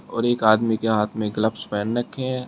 और एक आदमी के हाथ में ग्लब्स पहन रखे है।